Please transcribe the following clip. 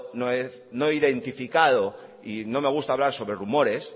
no he identificado y no me gusta hablar sobre rumores